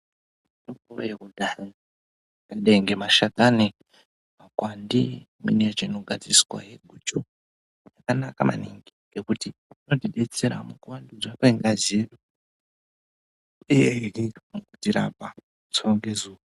Mitombo yekudhaya yakadai ngemashakani, makwande, imweni yacho inogadziriswahe guchu yakanaka maningi ngekuti inotidetsera mukuvandudzwa kwengazi uyehe mukutirapa zuva ngezuva.